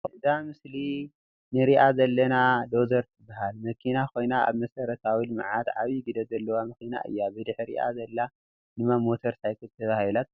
እዛ ምስሊ ንሪኣ ዘለና ዶዘር ትበሃል መኪና ኮይና ኣብ መሰረታዊ ልምዓት ዓቢዪ ግደ ዘለዋ መኪና እያ ። ብድሕሪኣ ዘላ ድማ ሞተር ሳይክል ተባሂላ ትፅዋዕ ።